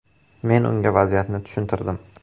Men unga vaziyatni tushuntirdim.